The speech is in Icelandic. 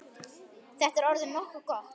Þetta er orðið nokkuð gott.